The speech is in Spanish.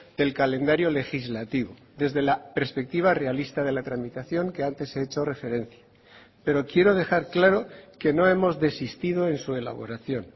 del calendario legislativo desde la perspectiva realista de la tramitación que antes he hecho referencia pero quiero dejar claro que no hemos desistido en su elaboración